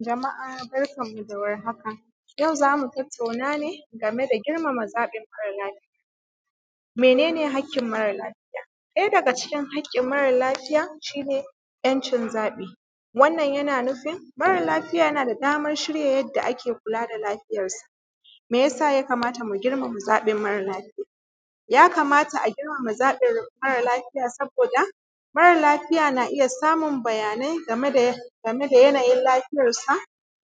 Jama’a, barkanmu da warhaka, yau za mu tattauna ne game da girmama zaɓin mara lafiya. Mene ne haƙƙin mara lafiya, ɗaya daga cikin haƙƙin mara lafiya shi ne ‘yancin zaɓi. Wannan yana nufin mara lafiya yana da daman shirya yanda ake kula da lafiyansa. Me ya sa ya kamata mu girmama zaɓin mara lafiya? Yakamata a girmama zaɓin mara lafiya saboda mara lafiya na iya samun bayanai game da yanayi lafiyarsa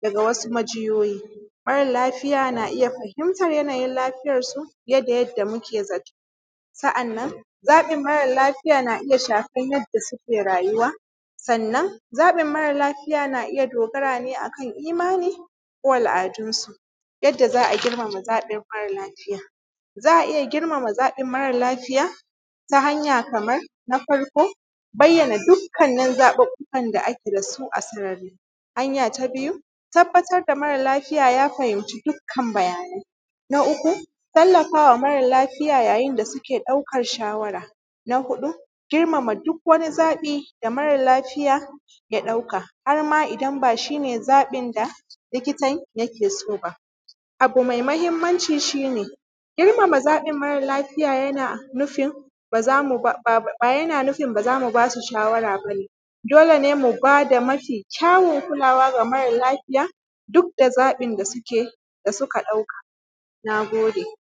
da sawu majiyoyi. Mara lafiya na iya fahimtan yanayi lafiyarsa fiye da yadda muke zato. Sa’annan, zaɓin mara lafiya na iya shafan yadda suke rayuwa, sannan zaɓin mara lafiya na iya dogara ne akan imani kulawa da al’adunsu. Yanda za a girmama zaɓin mara lafiya? Za a girmama zaɓin mara lafiya ta hanya kamar na farko, bayyana dukkanin zaɓuɓɓukan da ake da su a sarari, hanya ta biyu, tabbatar da mara lafiya ya fahinci dukkan bayanai. Na uku, tallafa wa mara lafiya yayin da suke ɗaukan shawara. Na huɗu, girmama duk wannan zaɓin da mara lafiya ya ɗauka. Har ma ba shi zaɓin da likitan yake so ba, abu mai mahinmanci shi ne in mara zaɓin mara lafiya yana nufin ba za ba, yana nufin ba za mu ba da su shawara ba ne. Dole ne mu bada mafi zaɓin kulawa da mara lafiya, duk da zaɓin da suke ɗauka. Na gode.